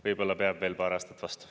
Võib-olla peab veel paar aastat vastu.